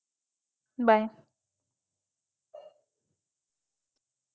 Bye.